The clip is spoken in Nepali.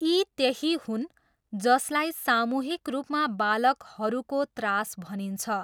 यी त्यही हुन् जसलाई सामूहिक रूपमा बालकहरूको त्रास भनिन्छ।